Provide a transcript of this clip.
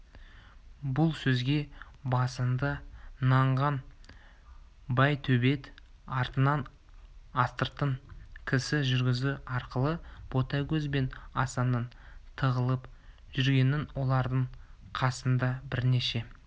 бұл сөзге басында нанған байтөбет артынан астыртын кісі жүргізу арқылы ботагөз бен асанның тығылып жүргенін олардың қасында бірнеше